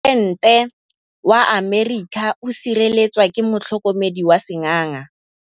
Poresitêntê wa Amerika o sireletswa ke motlhokomedi wa sengaga.